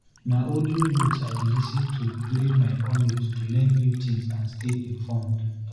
Na audiobooks I dey lis ten to during my commute to learn new things and stay informed.